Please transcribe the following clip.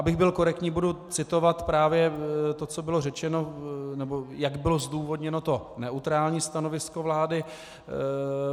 Abych byl korektní, budu citovat právě to, co bylo řečeno, nebo jak bylo zdůvodněno to neutrální stanovisko vlády.